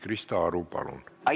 Krista Aru, palun!